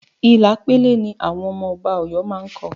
Ila pele ni àwọn ọmọ Ọba Ọ̀yọ́ má ń kọ